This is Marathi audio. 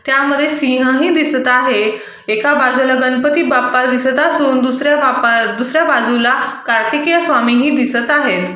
त्यामध्ये सिंह ही दिसत आहे एका बाजूला गणपती बाप्पा दिसत असून दुसर्‍या बाप्पा दुसऱ्या बाजूला कार्तिकेय स्वामीही दिसत आहेत.